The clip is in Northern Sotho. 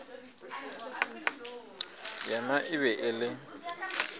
yena e be e le